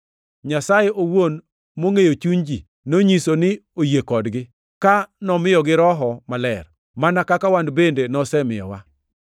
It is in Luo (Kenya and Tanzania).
Nyasaye owuon mongʼeyo chuny ji, nonyiso ni oyie kodgi, ka nomiyogi Roho Maler, mana kaka wan bende nosemiyowa.